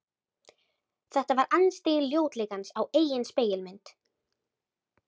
Þetta var andstyggð ljótleikans á eigin spegilmynd.